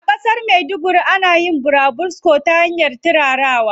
A ƙasar maiduguri ana yin burabusko ta hanyar turarawa.